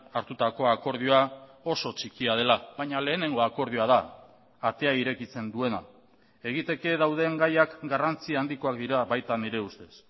hartutako akordioa oso txikia dela baina lehenengo akordioa da atea irekitzen duena egiteke dauden gaiak garrantzi handikoak dira baita nire ustez